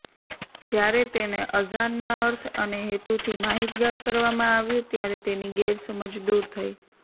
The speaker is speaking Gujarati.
જ્યારે તેને અઝાનના અર્થ અને હેતુથી માહિતગાર કરવામાં આવ્યું ત્યારે તેની ગેરસમજ દૂર થઈ